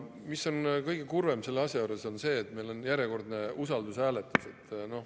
Kõige kurvem selle asja juures on see, et meil on järjekordne usaldushääletus.